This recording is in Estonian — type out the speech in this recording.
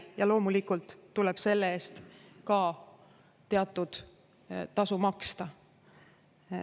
Ja loomulikult tuleb selle eest ka teatud tasu maksta.